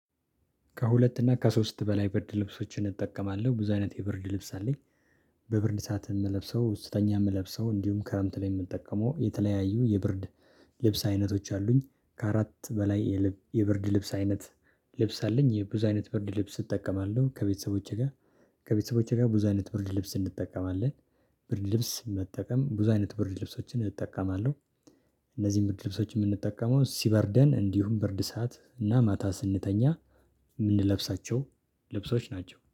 ከሁለት እና ከሶስት በላይ ብርድ ልብሶችን እጠቀማለሁ ብዙ አይነት የብርድ ልብስ አለኝ። በብርድ ሰዓት እምለብሰው ስተኛ ምለብሰው እንዲሁም ክረምት ላይ የምጠቀመው የተለያዩ የብርድ ልብስ አይነቶች አሉኝ። ከአራት በላይ የልብ የብርድ ልብስ አይነት። ልብስ አለኝ የብዙ አይነት ብርድ ልብስ እጠቀማለሁ ከቤተሰቦቼ ጋር ከቤተሰቦቼ ጋር ብዙ አይነት ብርድ ልብስ እንጠቀማለን። ብርድ ልብስ መጠቀም ብዙ አይነት ብርድ ልብሶችን እጠቀማለሁ። እነዚህን ብርድ ልብሶች የምንጠቀመው ሲበርደን እንዲሁም ብርድ ሰዓት እና ማታ ስንተኛ የምንለብሳቸው ልብሶች ናቸው